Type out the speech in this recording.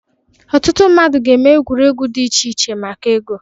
Ọtụtụ mmadụ ga na-eme egwuregwu dị iche iche maka ego.